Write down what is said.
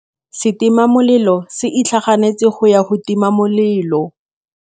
Setima molelô se itlhaganêtse go ya go tima molelô.